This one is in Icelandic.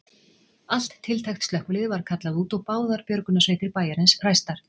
Allt tiltækt slökkvilið var kallað út og báðar björgunarsveitir bæjarins ræstar.